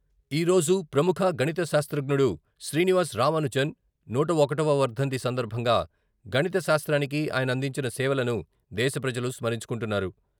ఈ రోజు ప్రముఖ, గణిత శాస్త్రజ్ఞుడు శ్రీనివాస రామానుజన్ నూట ఒకటవ వర్ధంతి సందర్భంగా గణిత శాస్త్రానికి ఆయన అందించిన సేవలను దేశ ప్రజలు స్మరించుకుంటున్నారు.